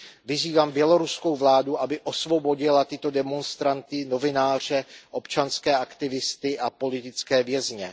Vyzývám běloruskou vládu, aby osvobodila tyto demonstranty, novináře, občanské aktivisty a politické vězně.